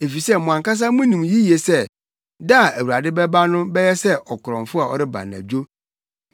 Efisɛ mo ankasa munim yiye sɛ da a Awurade bɛba no bɛyɛ sɛ ɔkorɔmfo a ɔreba anadwo.